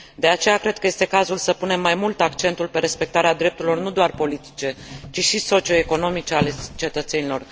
De aceea, cred că este cazul să punem mai mult accentul pe respectarea drepturilor nu doar politice, ci și socioeconomice ale cetățenilor.